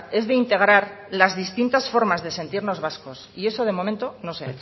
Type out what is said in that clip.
es de integrar las distintas formas de sentirnos vascos y eso de momento no se